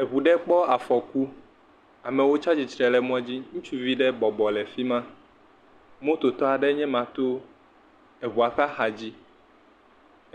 Eŋu ɖe kpɔ afɔku. Amewo tsa tsitre ɖe mɔ dzi. Ŋutsuvi ɖe bɔbɔ le fi ma. Mototɔ aɖe nye me to eŋua ƒe xa dzi.